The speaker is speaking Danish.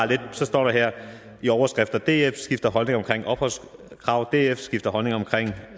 det står der her i overskrifter df skifter holdning omkring opholdskravet df skifter holdning omkring